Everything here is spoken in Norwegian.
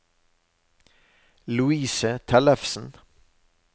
Louise Tellefsen